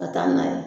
Ka taa n'a ye